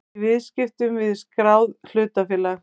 í viðskiptum við skráð hlutafélag.